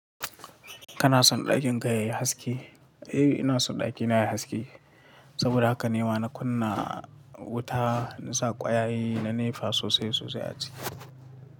Kana son ɗakin ka yayi haske? Eh ina son ɗakina yayi haske, saboda haka ne ma na kunna wuta, na sa kwayaye, na nefa sosai sosai a ciki.